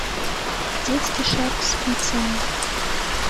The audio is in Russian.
детский шарф спицами